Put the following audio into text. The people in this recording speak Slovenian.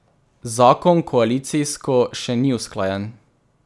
Zakon koalicijsko še ni usklajen.